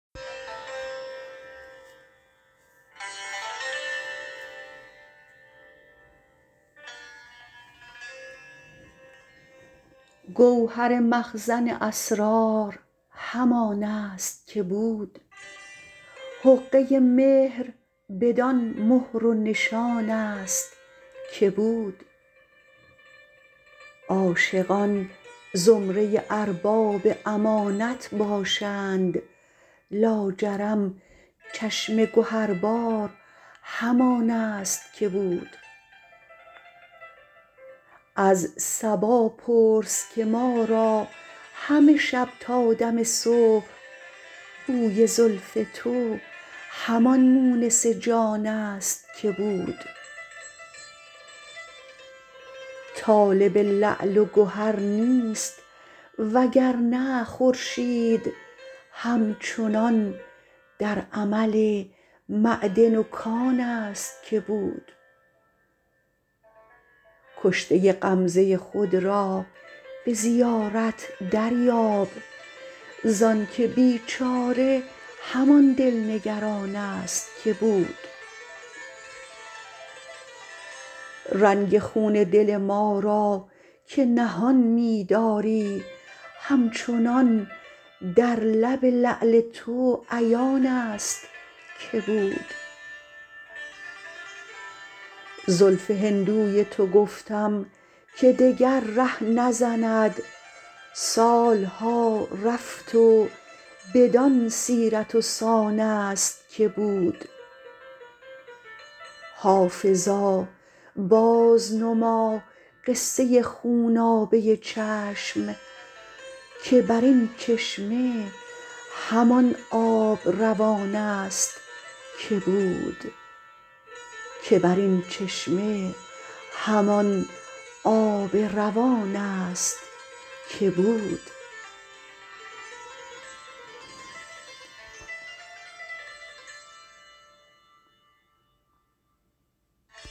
گوهر مخزن اسرار همان است که بود حقه مهر بدان مهر و نشان است که بود عاشقان زمره ارباب امانت باشند لاجرم چشم گهربار همان است که بود از صبا پرس که ما را همه شب تا دم صبح بوی زلف تو همان مونس جان است که بود طالب لعل و گهر نیست وگرنه خورشید هم چنان در عمل معدن و کان است که بود کشته غمزه خود را به زیارت دریاب زانکه بیچاره همان دل نگران است که بود رنگ خون دل ما را که نهان می داری همچنان در لب لعل تو عیان است که بود زلف هندوی تو گفتم که دگر ره نزند سال ها رفت و بدان سیرت و سان است که بود حافظا بازنما قصه خونابه چشم که بر این چشمه همان آب روان است که بود